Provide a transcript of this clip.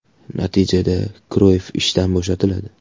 Natijada, Kroyff ishdan bo‘shatiladi.